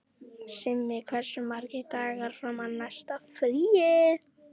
Simmi, hversu margir dagar fram að næsta fríi?